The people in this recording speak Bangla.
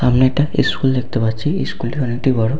আমি একটা ইস্কুল দেখতে পাচ্ছি ইস্কুল -টা অনেকটি বড়।